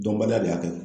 Dɔnbaliya de y'a kɛ